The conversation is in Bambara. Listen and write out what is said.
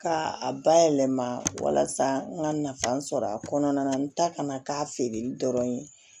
Ka a bayɛlɛma walasa n ka nafa sɔrɔ a kɔnɔna na n ta kana k'a feereli dɔrɔn ye